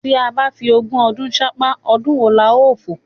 Tí a bá fi ogún ọdún ṣánpá, ọdún wo la ó fò?